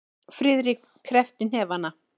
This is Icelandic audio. Friðrik kreppti hnefana.